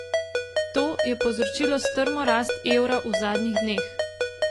To je povzročilo strmo rast evra v zadnjih dneh.